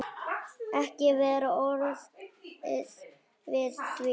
Ekki var orðið við því.